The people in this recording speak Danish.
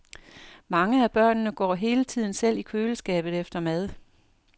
Mange af børnene går hele tiden selv i køleskabet efter mad.